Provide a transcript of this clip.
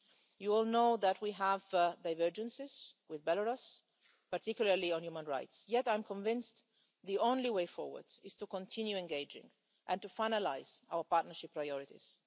You will know that we have divergences with Belarus, particularly on human rights, yet I'm convinced the only way forward is to continue engaging and to finalise our partnership priorities.